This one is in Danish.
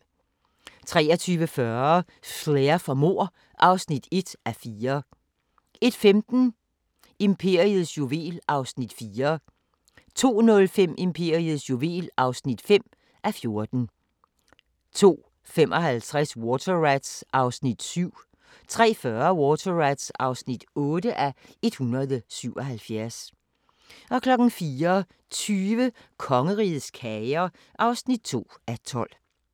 23:40: Flair for mord (1:4) 01:15: Imperiets juvel (4:14) 02:05: Imperiets juvel (5:14) 02:55: Water Rats (7:177) 03:40: Water Rats (8:177) 04:20: Kongerigets kager (2:12)